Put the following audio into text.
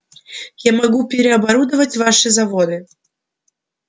я могу переоборудовать ваши заводы